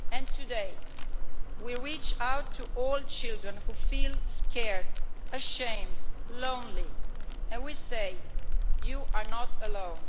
Today we reach out to all children who feel scared, ashamed, lonely and we say you are not alone.